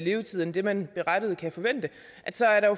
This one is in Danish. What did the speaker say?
levetid end det man berettiget kan forvente